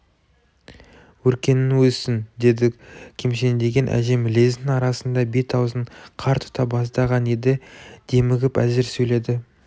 өркенің өссін деді кемсеңдеген әжем лездің арасында бет-аузын қар тұта бастаған еді демігіп әзер сөйледі